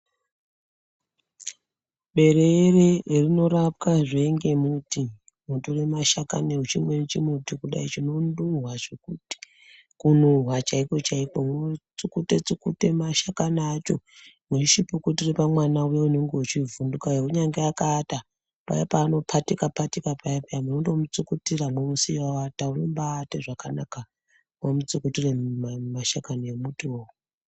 Bereere rinorapwazve ngemuti unotore mashakani echimweni chimuti kudai chinonhuwa, zvekuti kunhuwa chaikochaiko, unotsukute tsukute mashakani acho mweichipukutire pamwana uye unonge echivhudhuka uya kunyange akaata paya paanopatika patika paya paya munondo mutsukutira mwomusiya aata unoba aata zvakanaka mwamutsukutire mashakani emutiwo.